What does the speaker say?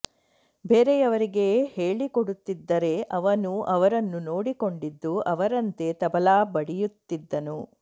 ಬೇರೆಯವರಿಗೆ ಹೇಳಿಕೊಡುತ್ತಿದ್ದರೆ ಅವನು ಅವರನ್ನು ನೋಡಿಕೊಂಡಿದ್ದು ಅವರಂತೆ ತಬಲಾ ಬಡಿಯುತ್ತಿದ್ದನು